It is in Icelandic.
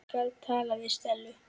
Ég skal tala við Stellu.